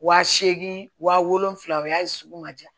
Wa seegin wa wolonfila o y'a ye sugu ma ja